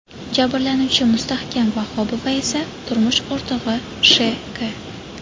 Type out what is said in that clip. Jabrlanuvchi Mustahkam Vahobova esa turmush o‘rtog‘i Sh.K.